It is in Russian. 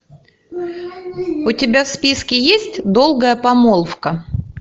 у тебя в списке есть долгая помолвка